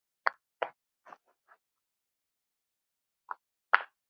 Ef svo í hvaða mæli?